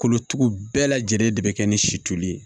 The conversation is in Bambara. Kolotugu bɛɛ lajɛlen de bɛ kɛ ni sitoli ye